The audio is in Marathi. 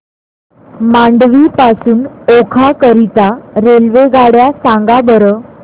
मांडवी पासून ओखा करीता रेल्वेगाड्या सांगा बरं